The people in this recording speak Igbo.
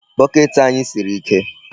Bucket anyị siri ike.